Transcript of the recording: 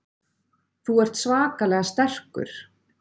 Þú ert svakalega sterkur.